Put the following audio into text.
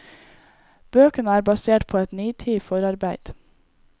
Bøkene er basert på et nitid forarbeid.